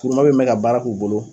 Kuruma bɛ mɛ ka baara k'u bolo.